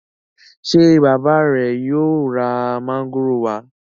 ṣe bàbá re yóò rà Mángòrò wa?